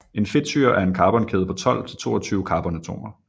En fedtsyre er en carbonkæde på 12 til 22 carbonatomer